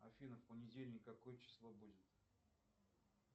афина в понедельник какое число будет